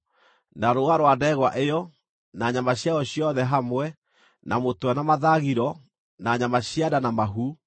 na rũũa rwa ndegwa ĩyo, na nyama ciayo ciothe hamwe, na mũtwe na mathagiro, na nyama cia nda na mahu,